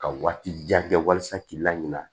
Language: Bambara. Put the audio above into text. Ka waati jan kɛ walasa k'i laɲinɛ